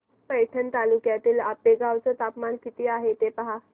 पैठण तालुक्यातील आपेगाव चं तापमान किती आहे पहा